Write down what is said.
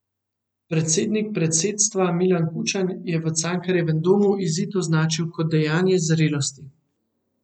Predsednik predsedstva Milan Kučan je v Cankarjevem domu izid označil kot dejanje zrelosti.